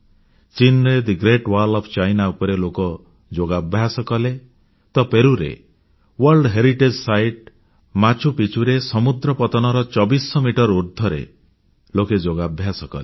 ଚୀନର the great wall ଉପରେ ଲୋକେ ଯୋଗାଭ୍ୟାସ କଲେ ତ ପେରୁରେ ବିଶ୍ବ ଐତିହ୍ୟ ସ୍ଥଳୀ ମାଚୁ ପିଚ୍ଚୁରେ ସମୁଦ୍ର ପତନର 2400 ମିଟର ଉର୍ଦ୍ଧ୍ବରେ ଲୋକେ ଯୋଗାଭ୍ୟାସ କଲେ